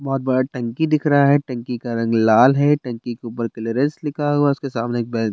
बहुत बड़ा टंकी दिख रहा है टंकी का रंग लाल है टंकी के ऊपर क्लीयरेंस लिखा हुआ है उसके सामने एक बेन --